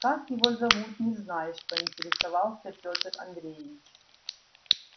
как его зовут не знаешь поинтересовался пётр андреевич